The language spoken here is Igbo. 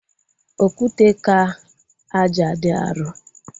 Okwute ka ájá dị arọ